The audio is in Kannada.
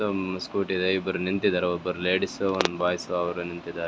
ತ್ತೊಂಬ್ ಸ್ಕೂಟಿ ಇದೆ ಇಬ್ರ್ ನಿಂತಿದಾರೆ ಒಬ್ರ್ ಲೇಡಿಸ್ಸ್ ಒಂದ್ ಬಾಯ್ಸು ಅವ್ರೆ ನಿಂತಿದಾರೆ.